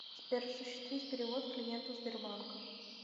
сбер осуществить перевод клиенту сбербанка